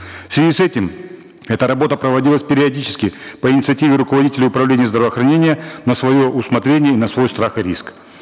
в связи с этим эта работа проводилась периодически по инициативе руководителей управления здравоохранения на свое усмотрение на свой страх и риск